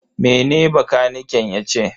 Mene bakaniken yace?